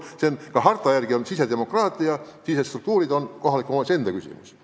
See on ka harta järgi sisedemokraatia – sisestruktuurid on kohaliku omavalitsuse enda küsimus.